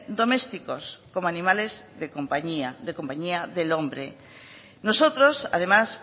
domésticos como animales de compañía de compañía del hombre nosotros además